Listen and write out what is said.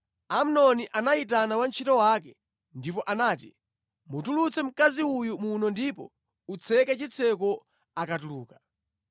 Amnoni anayitana wantchito wake ndipo anati, “Mutulutse mkazi uyu muno ndipo utseke chitseko akatuluka.”